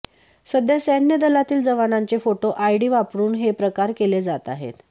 सध्या सैन्य दलातील जवानांचे फोटो आयडी वापरून हे प्रकार केले जात आहेत